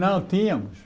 Não, tínhamos.